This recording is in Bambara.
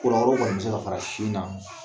wɛrɛw kɔni bɛ se ka fara sin na,